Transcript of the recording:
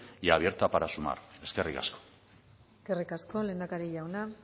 y abierta para sumar eskerrik asko eskerrik asko lehendakari jauna